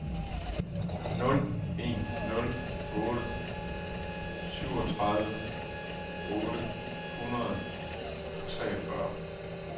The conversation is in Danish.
nul en nul otte syvogtredive otte hundrede og treogfyrre